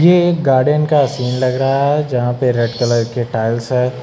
ये एक गार्डन का सीन लग रहा है जहां पर रेड कलर के टाइल्स है।